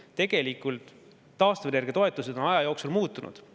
Tegelikult taastuvenergia toetused on aja jooksul muutunud.